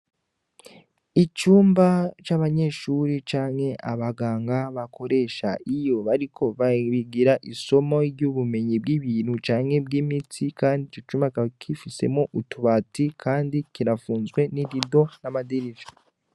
Icumba c'abanyeshure canke abaganga bakoresha iyo bariko bahigira isomo ry'ubumenyi bw'ibintu canke bw'imitsi kandi ico cumba kikaba gifisemwo utubati kandi kirafunzwe n'irido n'amadirisha